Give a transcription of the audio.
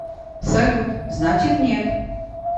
салют значит нет